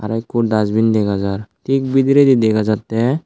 tey ikko dasbin dega jar tik bidiredi dega jattey.